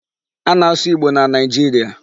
A na-asụ Igbo na Nigeria.